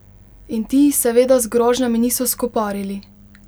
In ti seveda z grožnjami niso skoparili!